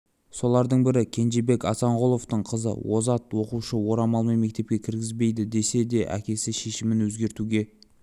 солардың бірі кенжебек азанғұловтың қызы озат оқушыны орамалмен мектепке кіргізбейді десе де әкесі шешімін өзгертуге